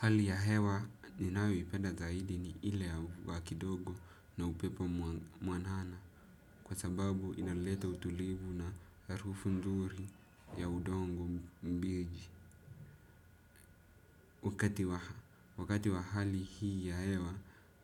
Hali ya hewa ninayoipenda zaidi ni ile ya mvua kidogo na upepo mwanana kwa sababu inaleta utulivu na harufu nzuri ya udongo mbiji. Wakati wa hali hii ya hewa,